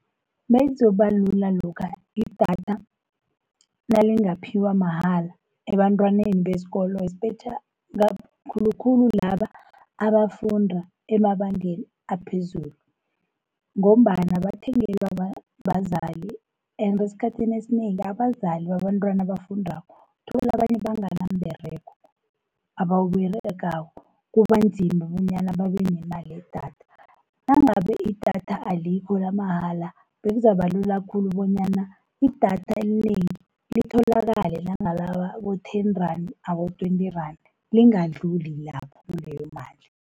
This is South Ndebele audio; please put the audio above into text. Bekuzobalula lokha idatha nalingaphiwa mahala ebantwaneni besikolo, khulukhulu laba abafundi emabangeni aphezulu, ngombana bathengelwa bazali and esikhathini esinengi abazali babantwana abafundako, uthola abanye bangana mberego, abawuberegako. Kuba nzima bonyana babe nemali yedatha, nangabe idatha alikho lamahala, bekuzabalula khulu bonyana idatha elinengi litholakale nangalaba abo-ten-rand, abo-twenty-rand lingadluli lapho kuleyo mali.